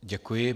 Děkuji.